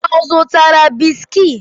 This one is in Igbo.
Ọ zụtara bisiki?